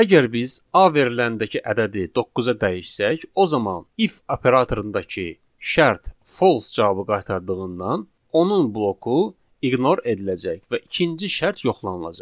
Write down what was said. Əgər biz A veriləndəki ədədi doqquza dəyişsək, o zaman if operatorundakı şərt false cavabı qaytardığından, onun bloku ignor ediləcək və ikinci şərt yoxlanılacaq.